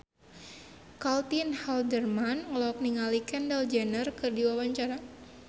Caitlin Halderman olohok ningali Kendall Jenner keur diwawancara